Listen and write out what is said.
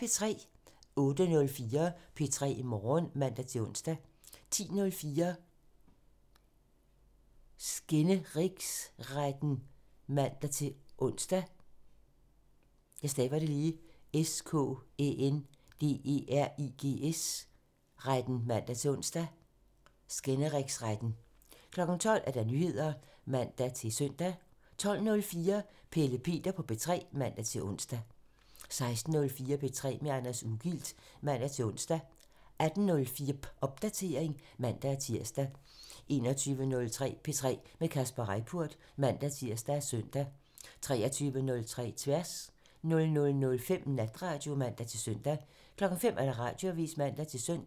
08:04: P3 Morgen (man-ons) 10:04: Skænderigsretten (man-ons) 12:00: Nyheder (man-søn) 12:04: Pelle Peter på P3 (man-ons) 16:04: P3 med Anders Ugilt (man-ons) 18:04: Popdatering (man-tir) 21:03: P3 med Kasper Reippurt (man-tir og søn) 23:03: Tværs 00:05: Natradio (man-søn) 05:00: Radioavisen (man-søn)